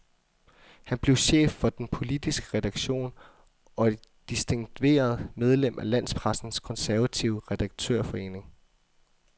Han blev chef for den politiske redaktion og et distingveret medlem af landspressens konservative redaktørforening.